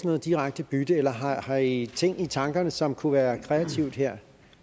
noget direkte bytte eller har har i ting i tankerne som kunne være kreativt her